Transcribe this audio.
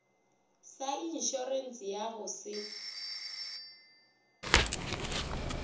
sa inšorense ya go se